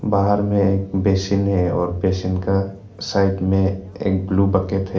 बाहर में एक बेसिन है और बेसिन का साइड में रख एक ब्लू बकेट है।